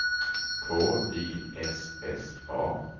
K Y S S A